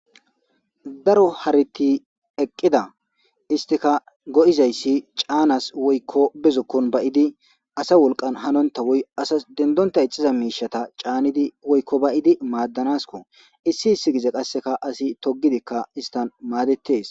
daro hariti eqqida istika go7izayssi caanas woykko bezokkon bayidi asa wolqan hanonta woy asas dendonta ixiza miishata caanidi woykko bayidi maaddanasko issi issi gize qasseka asi togidikka istan maadettes